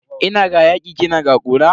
Ina ga yaki kina ga kura.